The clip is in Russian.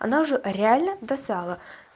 она уже реально достала